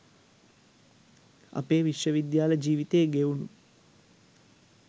අපේ විශ්වවිද්‍යාල ජීවිතේ ගෙවුනු